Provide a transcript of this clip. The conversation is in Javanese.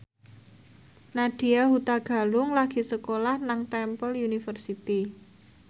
Nadya Hutagalung lagi sekolah nang Temple University